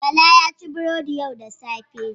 Bala ya ci burodi yau da safe.